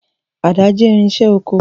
Àdá jẹ́ irinṣẹ́ oko.